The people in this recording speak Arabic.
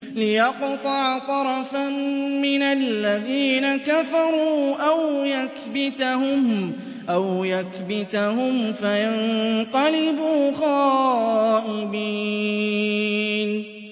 لِيَقْطَعَ طَرَفًا مِّنَ الَّذِينَ كَفَرُوا أَوْ يَكْبِتَهُمْ فَيَنقَلِبُوا خَائِبِينَ